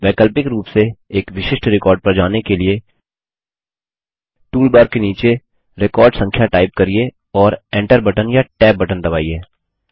वैकल्पिक रूप से एक विशिष्ट रिकॉर्ड पर जाने के लिए टूलबार के नीचे रिकॉर्ड संख्या टाइप करिये और enter बटन या tab बटन दबाइए